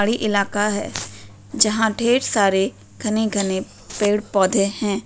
साड़ी इलाका है जहां ढेर सारे घने-घने पेड़ पौधे हैं।